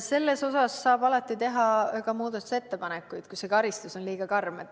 Selle kohta saab alati teha muudatusettepanekuid, kui karistus on liiga karm.